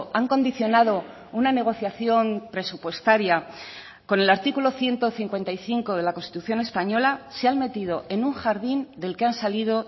han condicionado una negociación presupuestaria con el artículo ciento cincuenta y cinco de la constitución española se han metido en un jardín del que han salido